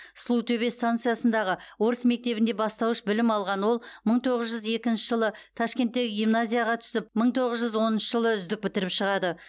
сұлутөбе станциясындағы орыс мектебінде бастауыш білім алған ол мың тоғыз жүз екінші жылы ташкенттегі гимназияға түсіп мың тоғыз жүз оныншы жылы үздік бітіріп шығады